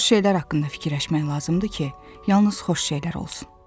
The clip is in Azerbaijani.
Xoş şeylər haqqında fikirləşmək lazımdır ki, yalnız xoş şeylər olsun.